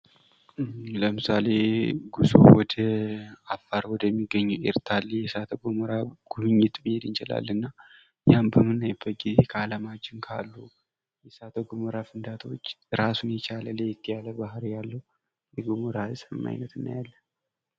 ለምሳሌ ጉዞ ወደ አፋር ወደሚገኘው ኤርታሌ ገሞራ ጉብኝት መሄድ እንችላለን ያን በምናይበት ጊዜ ከአለማችን ካሉ የእሳተ ገሞራዎች እራሱን የቻለ ለየት ያለ ባህሪ ያለው የእሳተ ገሞራ አይነት እናያለን።